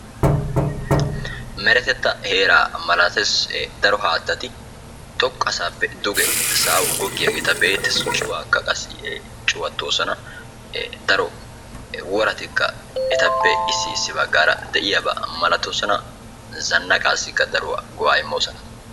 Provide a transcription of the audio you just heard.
meretettaa heeraa malates. daro haattati xoqqa saappe duge sa'awu goggiyageeta be'eettes. cuwaakka qassi cuwattoosona. daro woratikka etappe issi issi baggaara de'iyaba malatoosona. zannaqaassikka daruwa go'aa immoosona.